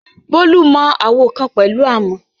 Bolu mọ àwo kan pẹ̀lú àmọ̀.